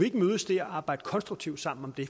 ikke mødes der og arbejde konstruktivt sammen om det